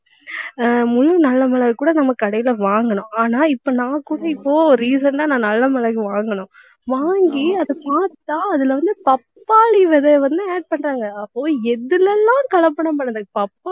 ஹம் முழு நல்ல மிளகு கூட நம்ம கடையில வாங்கினோம். ஆனா இப்ப நான் கூட இப்ப recent ஆ நான் நல்ல மிளகு வாங்கினோம். வாங்கி அதைப் பார்த்தா அதில வந்து, பப்பாளி விதையை வந்து add பண்றாங்க. அப்போ, எதில எல்லாம் கலப்படம்